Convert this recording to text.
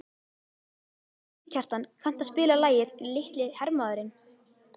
Mýrkjartan, kanntu að spila lagið „Litli hermaðurinn“?